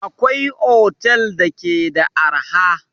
Akwai otel da ke da arha